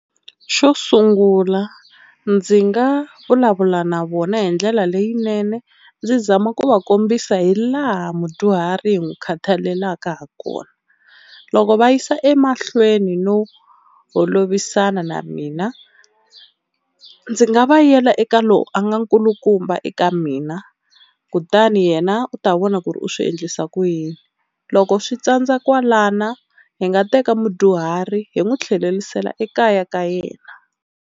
Xo sungula ndzi nga vulavula na vona hi ndlela leyinene ndzi zama ku va kombisa hi laha mudyuhari hi n'wi khathalelaka ha kona, loko va yisa emahlweni no holovisana na mina ndzi nga va yela eka lowu a nga nkulukumba eka mina kutani yena u ta vona ku ri u swi endlisa ku yini. Loko swi tsandza kwalano hi nga teka mudyuhari hi n'wi tlhelerisela ekaya ka yena.